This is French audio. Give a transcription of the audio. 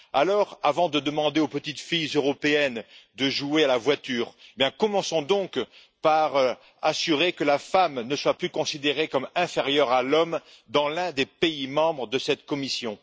Alors, avant de demander aux petites filles européennes de jouer à la voiture, commençons donc par veiller à ce que la femme ne soit plus considérée comme inférieure à l'homme dans l'un des pays membres de cette commission.